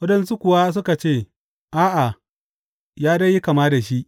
Waɗansu kuwa suka ce, A’a, ya dai yi kama da shi.